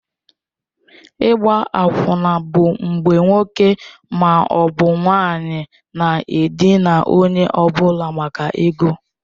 Ịgba akwụna bụ mgbe nwoke ma ọ bụ nwanyị na-edina onye ọ bụla maka ego.